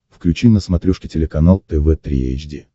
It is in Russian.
включи на смотрешке телеканал тв три эйч ди